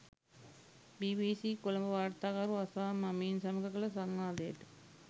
BBC Colombo වාර්තාකරු අසාම් අමීන් සමඟ කළ සංවාදයට